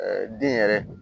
den yɛrɛ